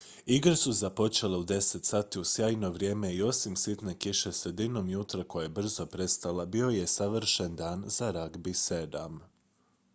igre su započele u 10:00 h uz sjajno vrijeme i osim sitne kiše sredinom jutra koja je brzo prestala bio je savršen dan za ragbi 7